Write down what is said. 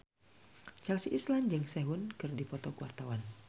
Chelsea Islan jeung Sehun keur dipoto ku wartawan